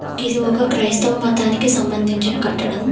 గిది ఒక క్రైస్తవ మతానికి సంబంధించిన కట్టడం.